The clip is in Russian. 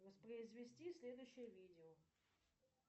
воспроизвести следующее видео